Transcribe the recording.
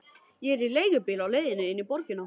Ég er í leigubíl á leiðinni inn í borgina.